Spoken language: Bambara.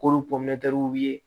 K'olu ye